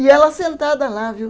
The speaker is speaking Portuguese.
E ela sentada lá, viu?